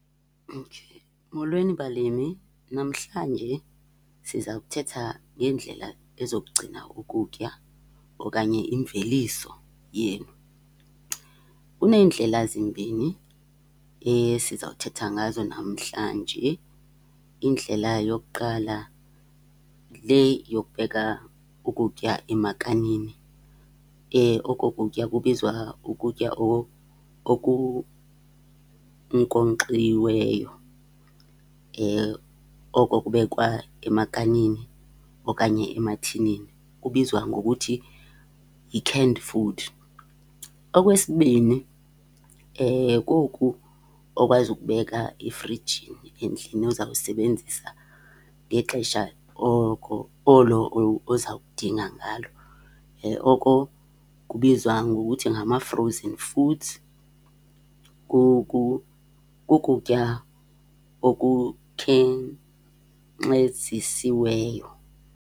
Okay. Molweni, balimi. Namhlanje siza kuthetha ngeendlela ezokugcina ukutya okanye imveliso yenu. Kuneendlela zimbini sizawuthetha ngazo namhlanje. Indlela yokuqala le yokubeka ukutya emakanini. Oko kutya kubizwa ukutya okunkonkxiweyo. Oko kubekwa emakanini okanye emathinini kubizwa ngokuthi yi-canned food. Okwesibini, koku okwazi ukubeka efrijini endlini ozayisebenzisa ngexesha oko olo oza kudinga ngalo. Oko kubizwa ngokuthi ngama-frozen foods. Kukutya okukhenkcezisiweyo.